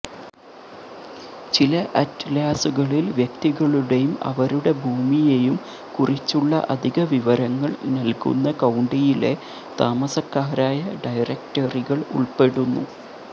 ചില അറ്റ്ലാസുകളിൽ വ്യക്തികളുടെയും അവരുടെ ഭൂമിയെയും കുറിച്ചുള്ള അധിക വിവരങ്ങൾ നൽകുന്ന കൌണ്ടിയിലെ താമസക്കാരായ ഡയറക്ടറികൾ ഉൾപ്പെടുന്നു